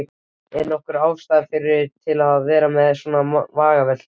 Ekki nokkur ástæða til að vera með svona vangaveltur.